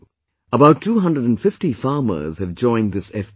About 250 farmers have joined this FPO